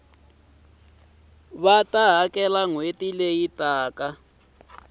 va ta hakela nhweti leyi taka